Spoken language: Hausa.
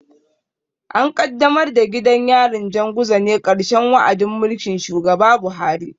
An kaddamar da gidan yarin Janguza ne a ƙarshen wa'adin mulkin shugaba Buhari.